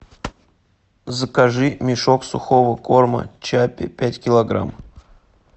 закажи мешок сухого корма чаппи пять килограмм